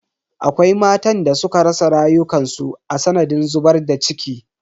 Akwai matan da suka rasa rayukansu a sanadiyan zubar da ciki.